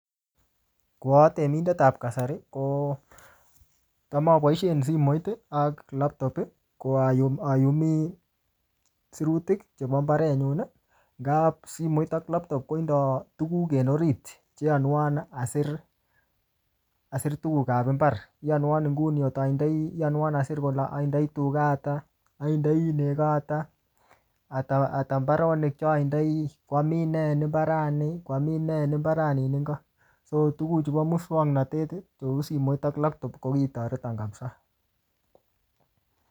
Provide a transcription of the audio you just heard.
Ko atemindet ap kasari, ko cham aboisien simoit ak laptop ko ayum-ayumi sirutik chebo mbaret nyun. Nga simoit ak laptop kotindoi tuguk en orit, che yanwan asir-asir tuguk ap mbar. Yanwan nguni kot atindoi, iyanwan asir kole atindoi tuga ata, atindoi nego ata ata mbaronik che atindoi, kwamin nee en mbarat ni, kwamin nee nin ingo. So tuguk chu moswaknatet cheu simoit ak laptop ko ki toreton kapsaa